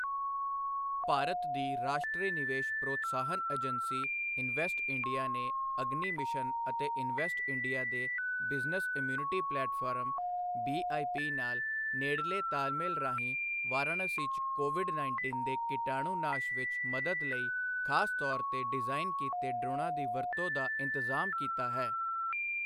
ਭਾਰਤ ਦੀ ਰਾਸ਼ਟਰੀ ਨਿਵੇਸ਼ ਪ੍ਰੋਤਸਾਹਨ ਏਜੰਸੀ ਇਨਵੈਸਟ ਇੰਡੀਆ ਨੇ ਅਗਨੀ ਮਿਸ਼ਨ ਅਤੇ ਇਨਵੈਸਟ ਇੰਡੀਆ ਦੇ ਬਿਜ਼ਨਸ ਇਮਿਊਨਿਟੀ ਪਲੇਟਫ਼ਾਰਮ ਬੀਆਈਪੀ ਨਾਲ ਨੇੜਲੇ ਤਾਲਮੇਲ ਰਾਹੀਂ ਵਾਰਾਣਸੀ 'ਚ ਕੋਵਿਡ ਉੱਨੀ ਦੇ ਕੀਟਾਣੂ ਨਾਸ਼ ਵਿੱਚ ਮਦਦ ਲਈ ਖਾਸ ਤੌਰ ਤੇ ਡਿਜ਼ਾਇਨ ਕੀਤੇ ਡ੍ਰੋਨਾਂ ਦੀ ਵਰਤੋਂ ਦਾ ਇੰਤਜ਼ਾਮ ਕੀਤਾ ਹੈ।